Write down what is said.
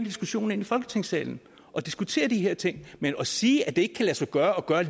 diskussionen ind i folketingssalen og diskutere de her ting men at sige at det ikke kan lade sig gøre at